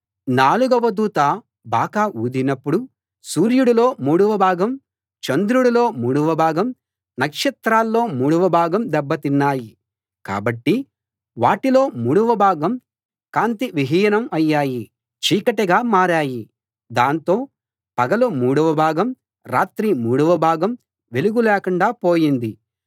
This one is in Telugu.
నాలుగవ దూత బాకా ఊదినప్పుడు సూర్యుడిలో మూడవ భాగం చంద్రుడిలో మూడోభాగం నక్షత్రాల్లో మూడవభాగం దెబ్బ తిన్నాయి కాబట్టి వాటిలో మూడోభాగం కాంతి విహీనం అయ్యాయి చీకటిగా మారాయి దాంతో పగలు మూడవ భాగం రాత్రి మూడవ భాగం వెలుగు లేకుండా పోయింది